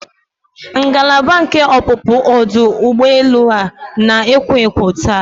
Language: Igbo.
Ngalaba nke ọpụpụ ọdụ ụgbọ elu a na-ekwo ekwo taa.